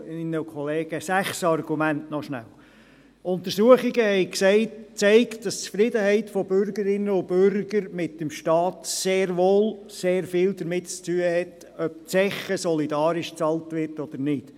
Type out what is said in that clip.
Noch schnell sechs Argumente: Erstens, Untersuchungen haben gezeigt, dass die Zufriedenheit der Bürgerinnen und Bürger mit dem Staat sehr wohl sehr viel damit zu tun hat, ob die Zeche solidarisch bezahlt wird oder nicht.